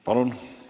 Palun!